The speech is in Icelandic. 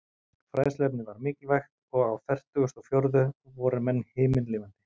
Fræðsluefnið var mikilvægt, og á fertugustu og fjórðu voru menn himinlifandi.